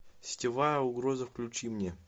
сетевая угроза включи мне